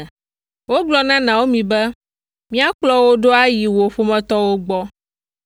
Wogblɔ na Naomi be, “Míakplɔ wò ɖo ayi wò ƒometɔwo gbɔ.”